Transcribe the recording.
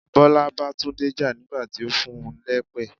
Bọlá bá Tunde jà nígbà tí ó fún un lépè.